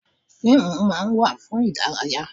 Fíìmù máa ń wà fún ìdárayá.